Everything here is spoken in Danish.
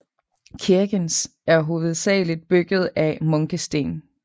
Kirkens er hovedsageligt bygget af munkesten